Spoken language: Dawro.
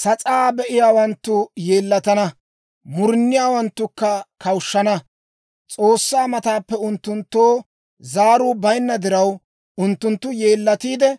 Sas'aa be'iyaawanttu yeellatana; muruniyaawanttukka kawushshana. S'oossaa mataappe unttunttoo zaaruu bayinna diraw, unttunttu yeellatiide,